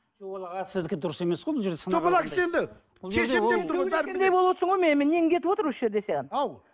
жоқ ол аға сіздікі дұрыс емес қой бұл жерде мына кісі енді нең кетіп отыр осы жерде сенің ау